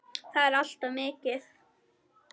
Það er allt of mikið.